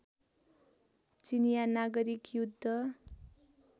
चिनियाँ नागरिक युद्ध